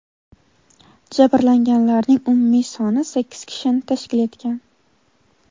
Jabrlanganlarning umumiy soni sakkiz kishini tashkil etgan.